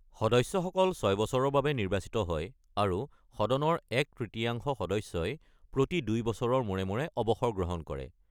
সদস্যসকল ছয় বছৰৰ বাবে নিৰ্বাচিত হয়, আৰু সদনৰ এক-তৃতীয়াংশ সদস্যই প্ৰতি দুই বছৰৰ মূৰে মূৰে অৱসৰ গ্ৰহণ কৰে।